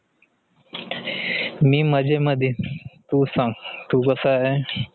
मी मजे मध्ये, तू सांग कसा आहे?